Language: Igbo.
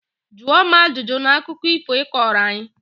Jụọ m ajụjụ na akụkọ ifo ị kọrọ anyị!